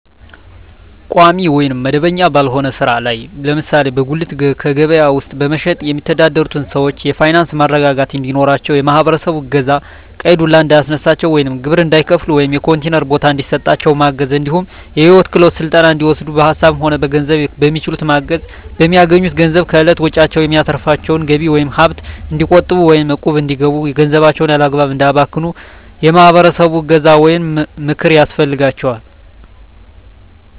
ቋሚ ወይም መደበኛ ባልሆነ ስራ ላይ ለምሳሌ በጉሌት ከበያ ውስጥ በመሸትጥ የሚተዳደሩትን ሰዎች የፋይናንስ መረጋጋት እንዲኖራቸው የማህበረሰቡ እገዛ ቀይ ዱላ እንዳያስነሳቸው ወይም ግብር እንዳይከፍሉ ወይም የኮንቲነር ቦታ እንዲሰጣቸው ማገዝ እንዲሁም የሂወት ክሄሎት ስልጠና እንዲወስዱ በሀሳብም ሆነ በገንዘብ በሚችሉት ማገዝ፣ በሚያገኙት ገንዘብ ከእለት ወጭዎች የሚተርፋቸውን ገቢ ወይም ሀብት እንዲቆጥቡ ወይም እቁብ እንዲገቡ ገንዘባቸውን ያላግባብ እንዳያባክኑ የማህበረሰቡ እገዛ ወይም ምክር ያስፈልጋል።